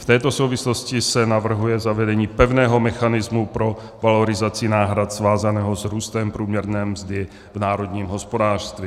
V této souvislosti se navrhuje zavedení pevného mechanismu pro valorizaci náhrad svázaného s růstem průměrné mzdy v národním hospodářství.